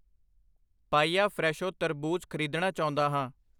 ਪਾਈਆ ਫਰੈਸ਼ੋ ਤਰਬੂਜ ਖ਼ਰੀਦਣਾ ਚਾਉਂਦਾ ਹਾਂ I